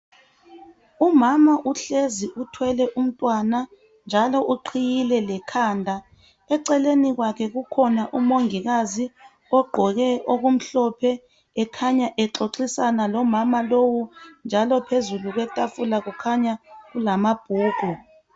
Umama uhlezi uthwele umntwana njalo uqhiyile lekhanda eceleni kwakhe kukhona umongikazi ogqoke okuhlophe ekhanya exoxisana lomama lowu njalo phezu kwetafula kukhanya kulamabhuku.